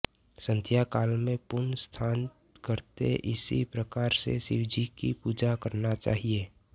संध्या काल में पुन स्नान करके इसी प्रकार से शिव जी की पूजा करना चाहिए